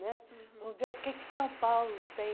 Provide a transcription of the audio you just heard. né Vamos ver o que que São Paulo tem